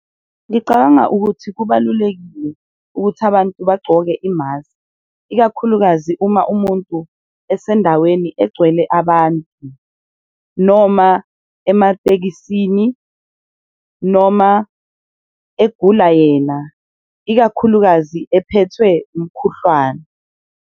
Ngicabanga ukuthi kubalulekile ukuthi abantu bagcoke imaskhi ikakhulukazi uma umuntu esendaweni egcwele abantu, noma ematekisini, noma egula yena, ikakhulukazi ephethwe umkhuhlwane.